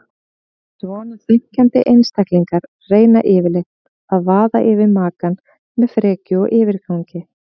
Svona þenkjandi einstaklingar reyna yfirleitt að vaða yfir makann með frekju og yfirgangi.